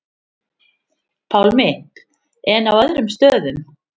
Pálmi: En á öðrum stöðum?